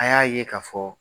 A y'a ye k'a fɔ